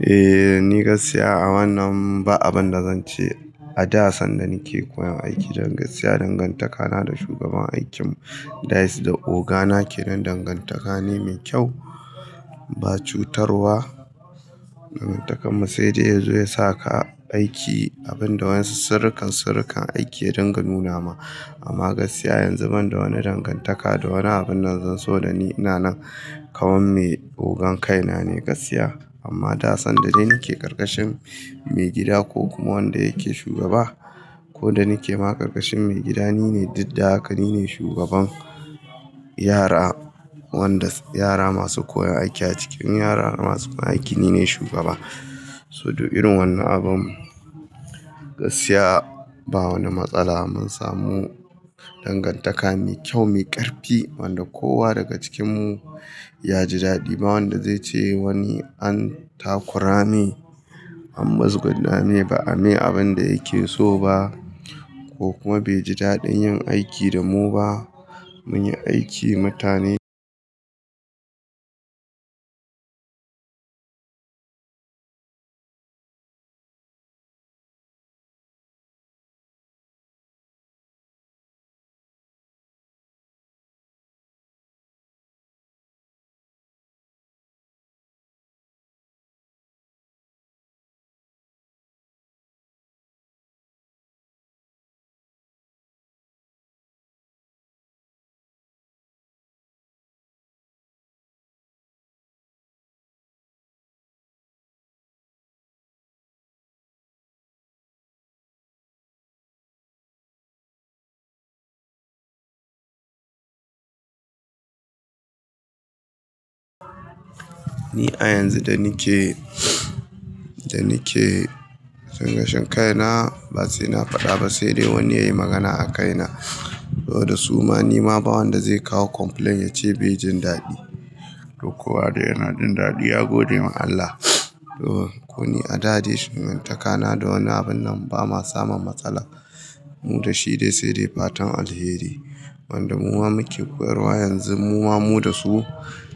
Eh, ni gaskiya a wannan ba abin da zan ce, a da sanda ni ke koyon aiki, dan gaskiya dangantaka na da shugaban aikin, that's da oga na ke nan dangantaka ne mai kyau, ba cutarwa dangantakar mu, sai dai yazo ya saka aiki, abin da wa'insu surrukan-surrukan aiki ya dunga nu nama. Amma gaskiya yanzu ban da wani dangantaka da wani abin nan zan, saboda ni ina nan kamar me, ogan kaina ne gaskiya. Amma da sanda dai ni ke ƙarƙashin, mai gida ko kuma wanda yake shugaba, ko da ni ke ma ƙarƙashin mai gida ni ne duk da haka ni ne shugaban yara, wanda yara masu koyon aiki a cikin yara masu koyan aiki ni ne shugaba. So duk irin wannan abun, gaskiya ba wani matsala, mun samu dangantaka mai kyau mai ƙarfi, wanda kowa daga cikinmu ya ji daɗi, ba wanda zai ce wani an takura me, an muzguna me, ba'a me abin da yake so ba, ko kuma bai ji daɗin yin aiki da mu ba. Mun yi aiki mutane, Ni a yanzu da ni ke, da ni ke cin ƙashin kaina, ba sai na faɗa ba sai dai wani ya yi magana a kaina. Saboda suma ni ma ba wanda zai kawo complaint ya ce bai jin daɗi. Duk kowa da yana jin daɗi ya gode ma Allah. To, koni a da dai shegantaka na da wani abun nan ba ma samun matsala mu da shi dai sai dai fatan alheri. Wanda muma muke koyarwa yanzu muwa mu da su,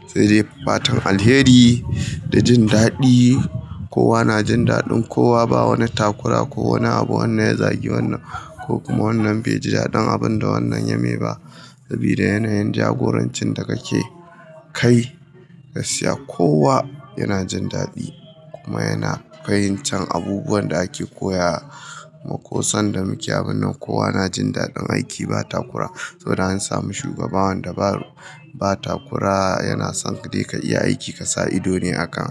sai dai fatan alheri da jin daɗi. Kowa na jin daɗin kowa, ba wani takura ko wani abu, wannan ya zagi wannan, ko kuma wannan bai ji daɗin abin da wannan ya mai ba. Sabida yanayin jagorancin da ka ke, kai, gaskiya kowa yana jin daɗi, kuma yana fahimtar abubuwan da ake koya, ma ko sanda muke abun nan kowa na jin daɗin aiki ba takura. Saboda an sami shugaba wanda ba takura, yana son dai ka iya aiki ka sa ido ne a kan.